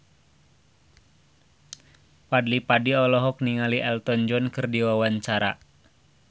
Fadly Padi olohok ningali Elton John keur diwawancara